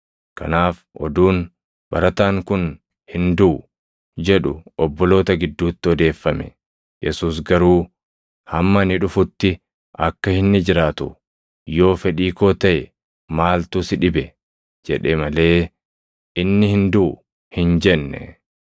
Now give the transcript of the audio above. Kanaaf oduun, “Barataan kun hin duʼu” jedhu obboloota gidduutti odeeffame. Yesuus garuu, “Hamma ani dhufutti akka inni jiraatu yoo fedhii koo taʼe maaltu si dhibe?” jedhe malee, “Inni hin duʼu” hin jenne.